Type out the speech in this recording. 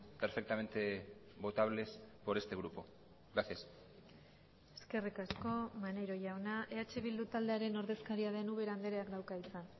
perfectamente votables por este grupo gracias eskerrik asko maneiro jauna eh bildu taldearen ordezkaria den ubera andreak dauka hitza